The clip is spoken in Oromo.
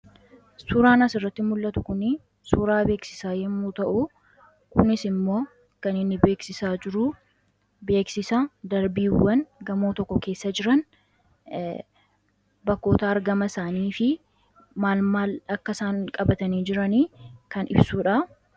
Suuraan asirratti mul'atu kun suuraa beeksisaa yommuu ta'u, kunis immoo kan inni beeksisaa jiru beeksisa darbiiwwan gamoo tokko keessa jiran bakkoota argama isaanii fi maal maal akka isaan qabatanii jiran kan ibsudha.